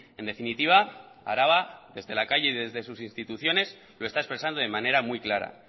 en definitiva araba desde la calle y desde sus instituciones lo está expresando de manera muy clara